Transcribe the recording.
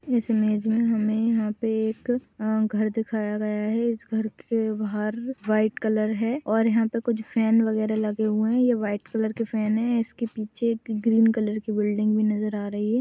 इस इमेज में हमे यहाँ पे एक घर दिखाया गया है इस घर के बाहर वाइट कलर है और यहाँ पे कुछ फैन वगेरा लगे हए हैं ये वाइट कलर के फैन हैं इसके पीछे एक ग्रीन कलर की बिल्डिंग भी नज़र आ रही है।